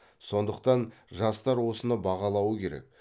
сондықтан жастар осыны бағалауы керек